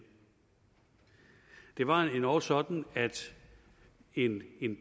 det var endog sådan at en